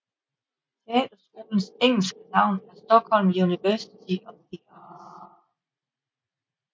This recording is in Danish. Teaterskolens engelske navn er Stockholm University of the Arts